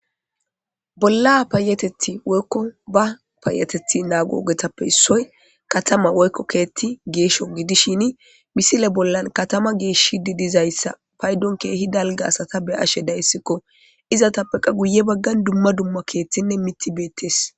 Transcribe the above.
bolla payateti woykko ba payateti naagogetappe issoy katama woykko keethti geeshon gidishini misile bollan katama geeshshidi dizayssa paydon keehi dalgaasata be ashe dayssikko izatappeqa guye baggan dumma dumma keethtinne mitibeettes